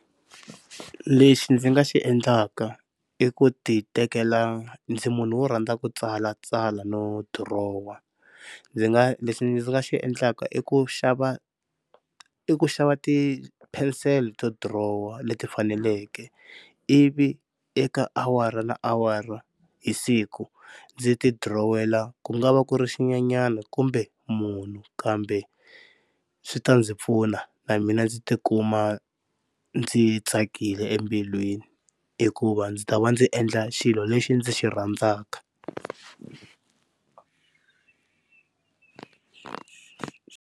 Lexi ndzi nga xi endlaka i ku titekela ndzi munhu wo rhandza ku tsalatsala no dirowa ndzi nga lexi ndzi nga xi endlaka i ku xava i ku xava tipenisele to dirowa leti faneleke ivi eka awara na awara hi siku ndzi ti dirowela ku nga va ku ri xinyenyani kumbe munhu kambe swi ta ndzi pfuna na mina ndzi tikuma ndzi tsakile embilwini, hikuva ndzi ta va ndzi endla xilo lexi ndzi xi rhandzaka.